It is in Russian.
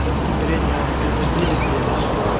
точки зрения юзабилити